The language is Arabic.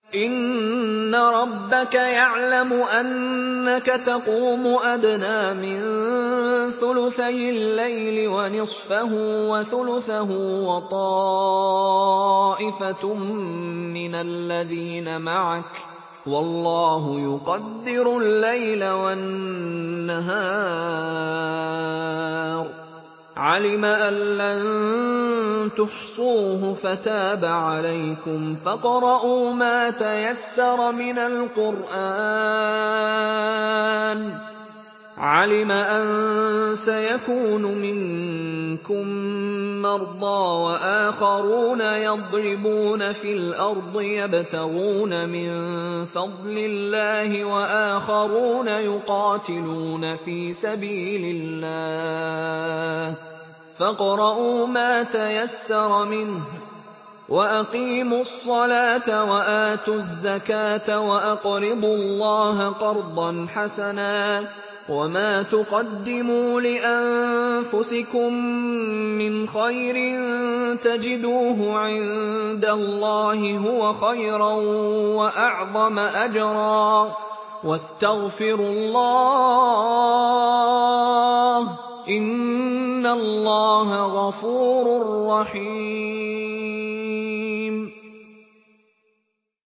۞ إِنَّ رَبَّكَ يَعْلَمُ أَنَّكَ تَقُومُ أَدْنَىٰ مِن ثُلُثَيِ اللَّيْلِ وَنِصْفَهُ وَثُلُثَهُ وَطَائِفَةٌ مِّنَ الَّذِينَ مَعَكَ ۚ وَاللَّهُ يُقَدِّرُ اللَّيْلَ وَالنَّهَارَ ۚ عَلِمَ أَن لَّن تُحْصُوهُ فَتَابَ عَلَيْكُمْ ۖ فَاقْرَءُوا مَا تَيَسَّرَ مِنَ الْقُرْآنِ ۚ عَلِمَ أَن سَيَكُونُ مِنكُم مَّرْضَىٰ ۙ وَآخَرُونَ يَضْرِبُونَ فِي الْأَرْضِ يَبْتَغُونَ مِن فَضْلِ اللَّهِ ۙ وَآخَرُونَ يُقَاتِلُونَ فِي سَبِيلِ اللَّهِ ۖ فَاقْرَءُوا مَا تَيَسَّرَ مِنْهُ ۚ وَأَقِيمُوا الصَّلَاةَ وَآتُوا الزَّكَاةَ وَأَقْرِضُوا اللَّهَ قَرْضًا حَسَنًا ۚ وَمَا تُقَدِّمُوا لِأَنفُسِكُم مِّنْ خَيْرٍ تَجِدُوهُ عِندَ اللَّهِ هُوَ خَيْرًا وَأَعْظَمَ أَجْرًا ۚ وَاسْتَغْفِرُوا اللَّهَ ۖ إِنَّ اللَّهَ غَفُورٌ رَّحِيمٌ